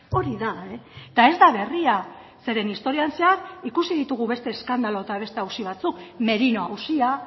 hori da eta ez da berria zeren historian zehar ikusi ditugu beste eskandalu eta beste auzi batzuk merino auzia